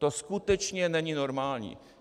To skutečně není normální.